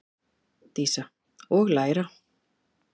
Dísa: Og læra.